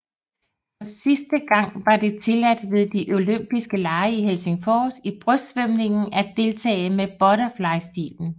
For sidste gang var det tilladt ved de olympiske lege i Helsingfors i brystsvømningen at deltage med butterflystilen